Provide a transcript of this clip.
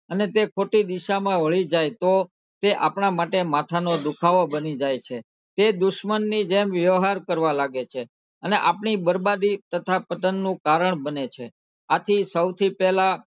અને તે ખોટી દિશામાં વળી જાય તો તે આપડા માટે માથાનાં દુખાવો બની જાય છે તે દુશ્મનની જેમ વ્યવહાર કરવા લાગે છે અને આપણી બરબાદી તથા પતનનું કારણ બને છે આથી સૌથી પહેલાં,